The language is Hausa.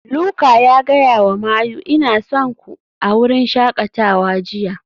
Luka ya gaya wa Mayu "Ina son ku" a wurin shakatawa jiya